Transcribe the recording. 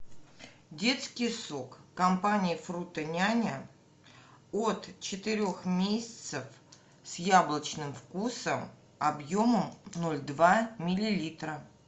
детский сок компании фрутоняня от четырех месяцев с яблочным вкусом объемом ноль два миллилитра